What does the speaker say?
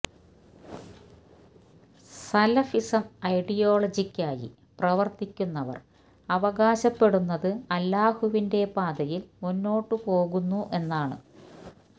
Salafism ഐഡിയോളജിയായി പ്രവർത്തിക്കുന്നവർ അവകാശപ്പെടുന്നത് അല്ലാഹുവിന്റെ പാതയിൽ മുന്നോട്ടു പോകുന്നു എന്നാണ്